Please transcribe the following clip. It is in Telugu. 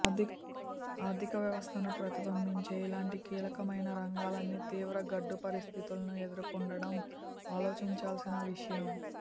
ఆర్థిక వ్యవస్థను ప్రతిబింబించే ఇలాంటి కీలకమైన రంగాలన్నీ తీవ్ర గడ్డు పరిస్థితులను ఎదుర్కొంటుండటం ఆలోచించాల్సిన విషయం